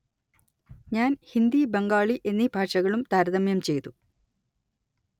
ഞാന്‍ ഹിന്ദി ബംഗാളി എന്നീ ഭാഷകളും താരതമ്യം ചെയ്തു